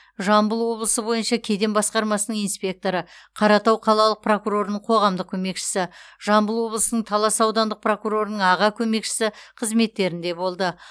жамбыл облысы бойынша кеден басқармасының инспекторы қаратау қалалық прокурорының қоғамдық көмекшісі жамбыл облысының талас аудандық прокурорының аға көмекшісі қызметтерінде болды